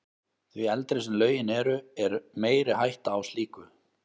Því eldri sem lögin eru, er meiri hætta á slíku.